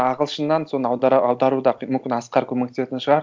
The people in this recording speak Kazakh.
ағылшыннан соны аудару да мүмкін асқар көмектесетін шығар